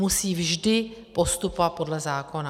Musí vždy postupovat podle zákona.